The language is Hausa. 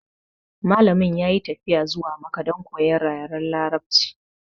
Malamin ya yi tafiya zuwa makka don koyan yaren larabci